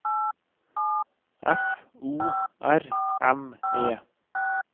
F O R M E